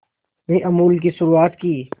में अमूल की शुरुआत की